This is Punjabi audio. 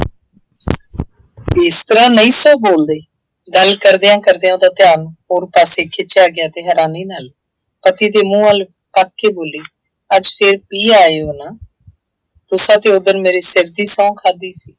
ਇਸ ਤਰ੍ਹਾ ਨਹੀਂ ਸਾਂ ਬੋਲਦੇ, ਗੱਲ ਕਰਦਿਆਂ ਕਰਦਿਆਂ ਉਹਦਾ ਧਿਆਨ ਹੋਰ ਪਾਸੇ ਖਿੱਚਿਆ ਗਿਆ ਅਤੇ ਹੈਰਾਨੀ ਨਾਲ ਪਤੀ ਦੇ ਮੂ੍ੰਹ ਵੱਲ ਤੱਕ ਕੇ ਬੋਲੀ, ਅੱਜ ਫੇਰ ਪੀ ਆਏ ਹੋ ਨਾ, ਤੁਸਾਂ ਤਾਂ ਉਹ ਦਿਨ ਮੇਰੇ ਸਿਰ ਦੀ ਸਹੁੰ ਖਾਧੀ ਸੀ।